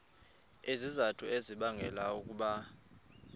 izizathu ezibangela ukuba